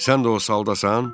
Sən də o saldasan?